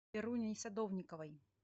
веруней садовниковой